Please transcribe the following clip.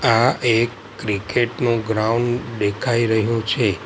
આ એક ક્રિકેટ નો ગ્રાઉન્ડ દેખાઈ રહ્યું છે.